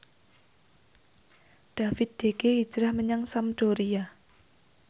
David De Gea hijrah menyang Sampdoria